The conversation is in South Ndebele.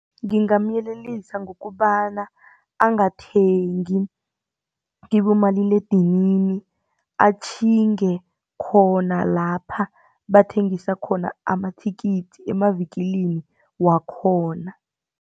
Ngingamyelelisa ngokobana angathengi kibomaliledinini atjhinge khona lapha bathengisa khona amathikithi emavikilini wakhona.